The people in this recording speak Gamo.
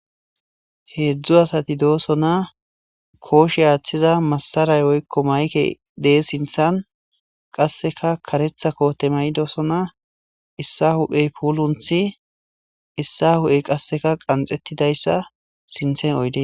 Hezhzhu asati dosona koshe athiza masaray woykon mayke de'osona qaseka karetha kote mayidosona issa huphey pulinsi issa huphey qaxetidaysa sintha oydey dees.